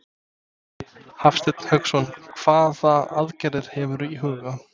Hafsteinn Hauksson: Hvaða aðgerðir hefurðu í huga?